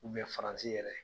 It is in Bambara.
Mun bɛ FARANSI yɛrɛ.